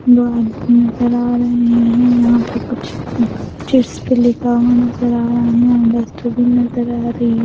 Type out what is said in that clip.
भी नजर आ रही है यहाँ पर कुछ चिट्स भी लिखा हुआ नजर आ रहा है यहाँ भी नजर आ रही है।